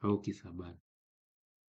au kisabali.